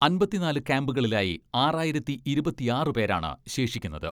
അമ്പത്തിനാല് ക്യാംപുകളിലായി ആറായിരത്തി ഇരുപത്തിയാറ് പേരാണ് ശേഷിക്കുന്നത്.